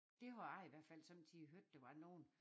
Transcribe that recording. Der hvor jeg i hvert fald sommetider hørte der var nogen